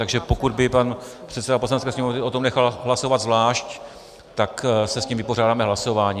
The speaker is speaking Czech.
Takže pokud by pan předseda Poslanecké sněmovny o tom nechal hlasovat zvlášť, tak se s tím vypořádáme hlasováním.